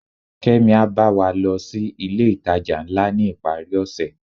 kemi a ba wa lo si ilé itaja ńlá ni iparí ose